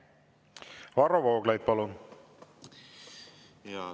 Varro Vooglaid, palun!